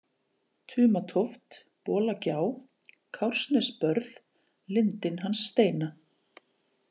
Tumatóft, Bolagjá, Kársnesbörð, Lindin hans Steina